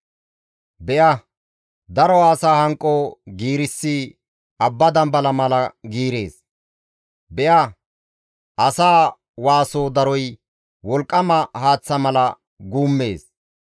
Be7a, daro asaa hanqo giirissi abba dambala mala giirees; be7a, asaa waaso daroy wolqqama haaththa mala guummees.